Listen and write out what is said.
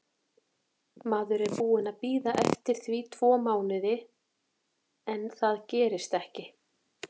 Maður er búinn að bíða eftir því tvo mánuði en það gerist ekki.